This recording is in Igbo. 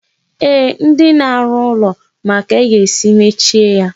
Eeh, ndị na-arụ ụlọ ma ka a ga-esi mechie ya.